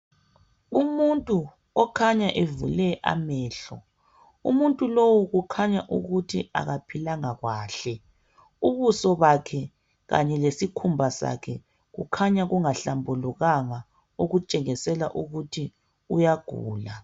Umuntu okhanya evule amehlo. Umuntu lowu kukhanya ukuthi akaphilanga kwahle. Ubuso bakhe kanye lesikhumba sakhe kukhanya kungahlambulukanga, okutshengisela ukuthi uyagula.